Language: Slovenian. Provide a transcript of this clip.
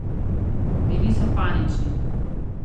Bili so panični.